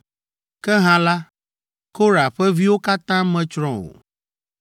Ke hã la, Korah ƒe viwo katã metsrɔ̃ o.